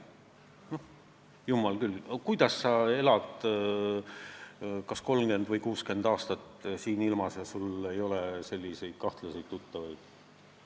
Jumal küll, kuidas sa elad kas 30 või 60 aastat siin ilmas ja sul ei ole kahtlaseid tuttavaid?!